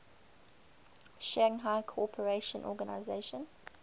shanghai cooperation organization